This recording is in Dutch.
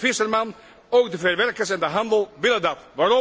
Niet alleen de visserman, ook de verwerkers en de handel willen dat.